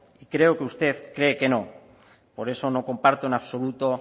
y creo que usted cree que no por eso no comparto en absoluto